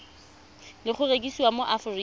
le go rekisiwa mo aforika